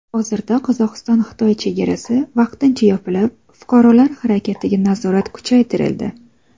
Hozirda Qozog‘istonXitoy chegarasi vaqtincha yopilib, fuqarolar harakatiga nazorat kuchaytirildi.